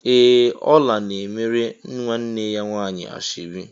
Ee! Ọla na-emere nwanne ya nwaanyị ashọbi.